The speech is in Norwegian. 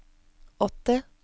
åtti